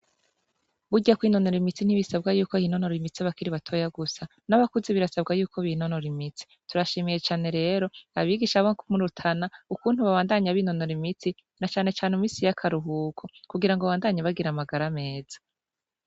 Burya kwinonora imitsi ntibisabwa ko hinonora imitsi abakiri batoya gusa, n'abakuze birasabwa yuko binonora imitsi. Turashimiye cane rero abigisha bo mu Rutana ukuntu babandanya binonora imitsi na cane cane mu misi y'akaruhuko kugira babandanye bagira amagara meza.